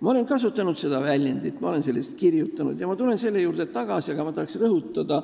Ma olen seda kujundit juba enne kasutanud – ma olen sellest kirjutanud ja tulen selle juurde veel tagasi –, aga ma tahan praegugi rõhutada